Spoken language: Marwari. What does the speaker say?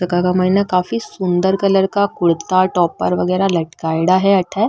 जका के मायने काफी सुन्दर कलर का कुर्ता टॉपर वगैरा लटकायेड़ा है अठे।